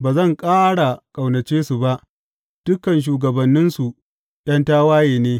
Ba zan ƙara ƙaunace su ba; dukan shugabanninsu ’yan tawaye ne.